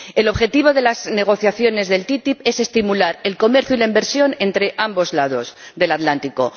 El objetivo de las negociaciones de la ATCI es estimular el comercio y la inversión entre ambos lados del Atlántico.